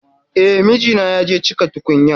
E, mijina ya je cika tukunyan.